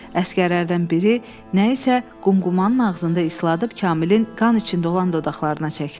Əsgərlərdən biri nə isə qumqumanın ağzında ısladıb Kamilin qan içində olan dodaqlarına çəkdi.